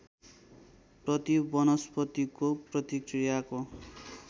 प्रति वनस्पतिको प्रतिक्रियाको